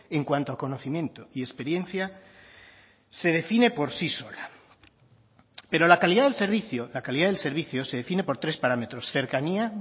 en cuanto al conocimiento y experiencia se define por sí sola pero la calidad del servicio la calidad del servicio se define por tres parámetros cercanía